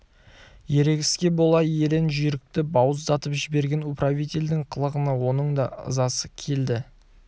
ерегіске бола ерен жүйрікті бауыздатып жіберген управительдің қылығына оның да ызасы келді